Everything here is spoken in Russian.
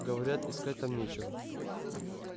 говорят искать там нечего